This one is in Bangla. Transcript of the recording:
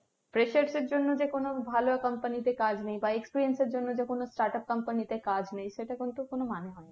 freshers এর জন্য যে কোনো ভালো company তে কাজ নেই বা experienced এর জন্য যে কোনো start up company তে কোনো কাজ নেই সেটা কিন্তু মানে হয়না।